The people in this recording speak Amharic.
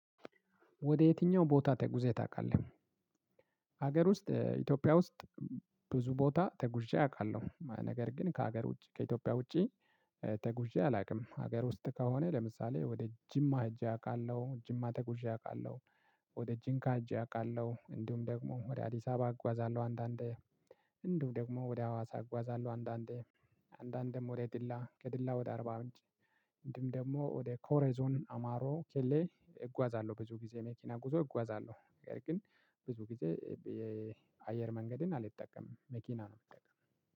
ወደ የትኛው ቦታ ተጉዘህ ታውቃለህ? ሀገር ውስጥ ኢትዮጵያ ውስጥ። ብዙ ቦታ ተጉዤ አውቃለሁ ነገር ግን ከሀገር ውጪ ከኢትዮጵያ ውጪ። ትጉዤ አላውቅም ሀገር ውስጥ ከሆነ ለምሳሌ ወደ ጂማ ሄጄ አውቃለሁ ጂማ ተጉዤ አውቃለሁ። ወደ ጂንካ ሄጄ አውቃለሁ እንዲሁም ደግሞ ወደ አዲስ አበባ አጓዛለሁ አንዳንዴ። እንዲሁም ደግሞ ወደ አዋሳ አጓዛለሁ አንዳንዴ። አንዳንዴም ወደ ድላ ከድላ ወደ አርባ ምንጭ። እንደውም ደግሞ ወደ ኮሬዞን አማሮ ኬሌ እጓዛለሁ ብዙ ጊዜ መኪና ጉዞ እጓዛለሁ ግን። ብዙ ጊዜ የአየር መንገድን አልጠቀምም መኪና ነው የምጠቀመው